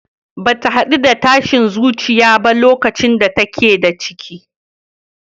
Bata haɗu da tashin zuciya ba lokacin da take da ciki.